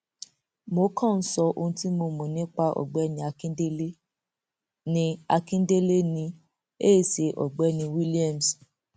mo kàn ń sọ ohun tí mo mọ nípa ọgbẹni akíndélé ní àkíndélé ni e ṣeun ọgbẹni williams